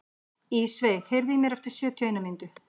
Ísveig, heyrðu í mér eftir sjötíu og eina mínútur.